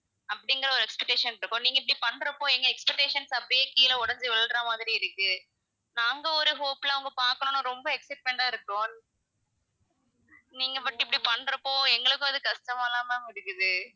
அப்படிங்கற ஒரு expectation இருக்கும், நீங்க இப்படி பண்றப்போ எங்க expectations அப்படியே கீழ உடைஞ்சு விழுற மாதிரி இருக்கு நாங்க ஒரு hope ல அவுங்க பாக்கணும்ன்னு ரொம்ப excitement ஆ இருக்கும் நீங்க மட்டும் இப்படி பண்றப்போ எங்களுக்கும் அது கஷ்டமா தான் ma'am இருக்குது.